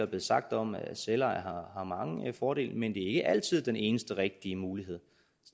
blevet sagt om at selveje har mange fordele men det er ikke altid den eneste rigtige mulighed